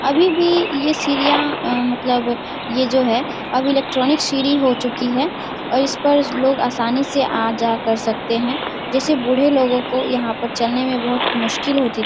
अभी भी ये सीढ़ियां अ मतलब ये जो है अब इलेक्ट्रोनिक सीढ़ी हो चुकी है और इस पर लोग आसानी से आ जा कर सकते हैं। जैसे बूढ़े लोगों को यहाँ पर चलने में बहुत मुश्किल होती --